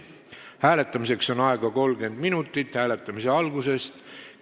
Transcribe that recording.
Hääletamiseks on aega 30 minutit hääletamise algusest arvates.